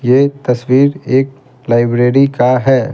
ये तस्वीर एकलाइब्रेरी का है।